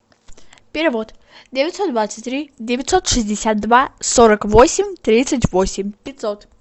перевод девятьсот двадцать три девятьсот шестьдесят два сорок восемь тридцать восемь пятьсот